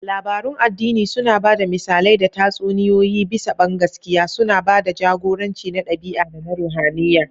Labarun addini suna ba da misalai da tatsuniyoyi bisa bangaskiya, suna ba da jagoranci na ɗabi'a da na ruhaniya.